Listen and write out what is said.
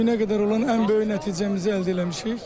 Bu günə qədər olan ən böyük nəticəmizi əldə eləmişik.